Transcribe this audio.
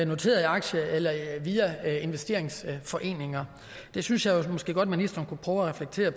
noterede aktier eller via investeringsforeninger det synes jeg jo måske godt at ministeren kunne prøve at reflektere